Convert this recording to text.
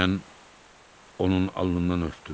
Mən onun alnından öpdüm.